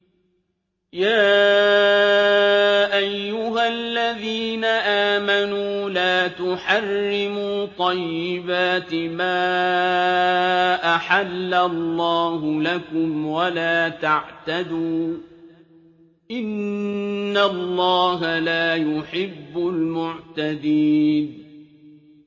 يَا أَيُّهَا الَّذِينَ آمَنُوا لَا تُحَرِّمُوا طَيِّبَاتِ مَا أَحَلَّ اللَّهُ لَكُمْ وَلَا تَعْتَدُوا ۚ إِنَّ اللَّهَ لَا يُحِبُّ الْمُعْتَدِينَ